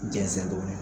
Jɛnsɛn dɔɔni